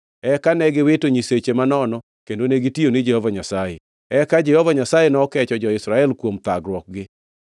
Eka ne giwito nyiseche manono kendo negitiyo ni Jehova Nyasaye. Eka Jehova Nyasaye nokecho jo-Israel kuom thagruokgi.